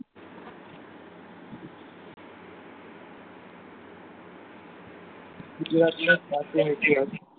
ગુજરાતીઑ જ માનવી આધયક